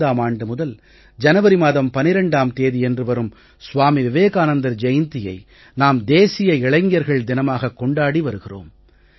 1995ம் ஆண்டு முதல் ஜனவரி மாதம் 12ம் தேதியன்று வரும் ஸ்வாமி விவேகானந்தர் ஜெயந்தியை நாம் தேசிய இளைஞர்கள் தினமாகக் கொண்டாடி வருகிறோம்